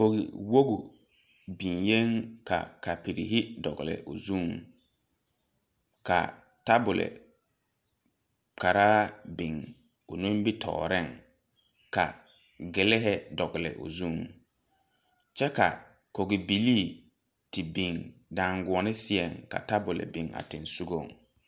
Koge woge beŋyeeŋ ka kapirehi dɔglwbo zuŋ ka tabole karaa biŋ o nimitooreŋ ka giliihi dɔgle o zuŋ kyɛ ka kogibilii te biŋ daaguone seɛŋ ka tabol biŋ a sensugɔŋ.